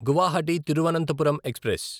Guwahati Thiruvananthapuram express